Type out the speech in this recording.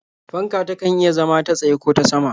Fanka takan iya zama ta tsaye ko ta sama.